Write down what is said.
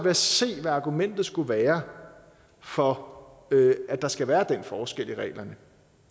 at se hvad argumentet skulle være for at der skal være den forskel i reglerne